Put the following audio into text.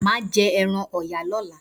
Maa jẹ ẹran Ọ̀yà lọ́la.